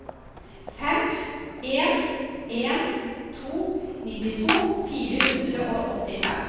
fem en en to nittito fire hundre og åttifem